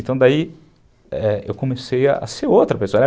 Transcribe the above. Então daí eu comecei a ser outra pessoa.